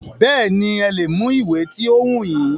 Bẹ́ẹ̀nì, ẹ lè mú ìwé ti o wù yín.